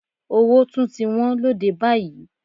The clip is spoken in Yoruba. Owó tún ti wọ́n lóde báyìí.